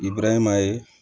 I burankɛ ma ye